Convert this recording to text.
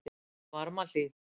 Varmahlíð